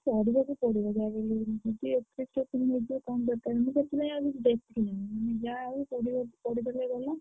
ପଢିବାକୁ ପଡିବ ଯାହାବି ହେଲେ ପନ୍ଦର ସେଥିଲାଗି ଆଉ ବେଶୀ ନୁହଁ।